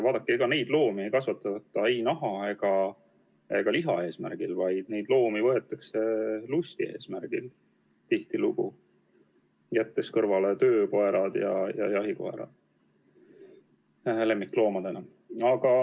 Vaadake, neid loomi ei kasvatata ei naha ega liha saamiseks, neid loomi võetakse lusti eesmärgil – jätame kõrvale töökoerad ja jahikoerad –, lemmikloomadeks.